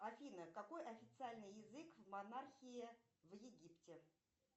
афина какой официальный язык в монархии в египте